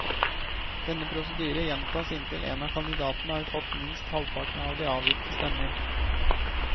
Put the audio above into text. Denne prosedyre gjentas inntil en av kandidatene har fått minst halvparten av de avgitte stemmer.